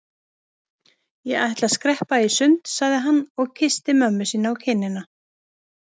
Ég ætla að skreppa í sund sagði hann og kyssti mömmu sína á kinnina.